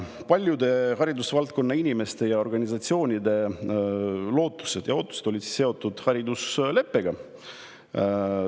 Paljude haridusvaldkonna inimeste ja organisatsioonide lootused ja ootused olid seotud haridusleppega.